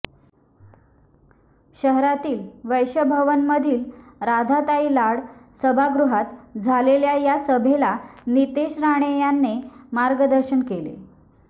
शहरातील वैश्यभवनमधील राधाताई लाड सभागृहात झालेल्या या सभेला नितेश राणे यांनी मार्गदर्शन केले